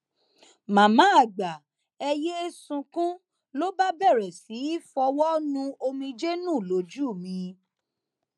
màmá àgbà ẹ yéé sunkún ló bá bẹrẹ sí í fọwọ nu omijé nù lójú mi